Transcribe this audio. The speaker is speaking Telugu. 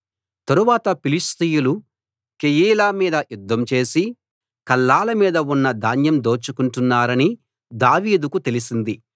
తరువాత ఫిలిష్తీయులు కెయీలా మీద యుద్ధం చేసి కళ్ళాల మీద ఉన్న ధాన్యం దోచుకొంటున్నారని దావీదుకు తెలిసింది